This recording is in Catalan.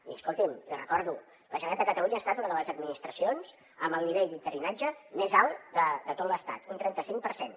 i escolti’m li recordo la generalitat de catalunya ha estat una de les administracions amb el nivell d’interinatge més alt de tot l’estat un trenta cinc per cent